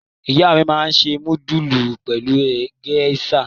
Ìyá mi máa ń se núdúlù pẹ̀lú géíṣà.